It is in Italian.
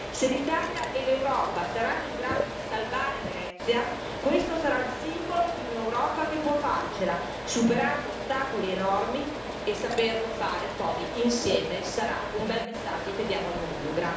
Se l'Italia e l'Europa saranno in grado di salvare Venezia, questo sarà il simbolo di un'Europa che può farcela, superando ostacoli enormi, e saperlo fare poi insieme sarà un bel messaggio che diamo al mondo.